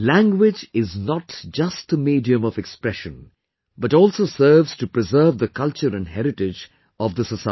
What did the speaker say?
Language is not just a medium of expression, but also serves to preserve the culture and heritage of the society